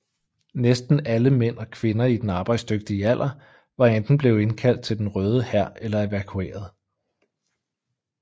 Næsten alle mænd og kvinder i den arbejdsdygtige alder var enten blevet indkaldt til Den Røde Hær eller evakueret